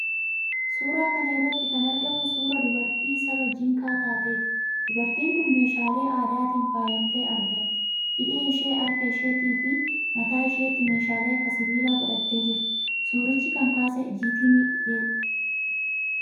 Suuraa kana irratti kan argamu suuraa dubartii saba Jinkaa taateeti. Dubartiin kun meeshaalee aadaatiin faayamtee argamti. Hidhii ishee, harka isheettiifi mataa isheetti meeshaalee akka sibiilaa godhattee jirti. Suuricha kan kaase 'gettyimages'dha.